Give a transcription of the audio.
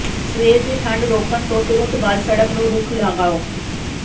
ਸਵੇਰ ਦੀ ਠੰਡ ਰੋਕਣ ਤੋਂ ਤੁਰੰਤ ਬਾਅਦ ਸੜਕ ਨੂੰ ਰੁੱਖ ਲਗਾਓ